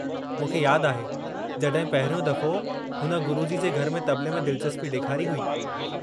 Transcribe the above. मूंखे यादि आहे जड॒हिं पहिरियों दफ़ो हुन गुरुजी जे घर में तबले में दिलचस्पी ॾेखारी हुई।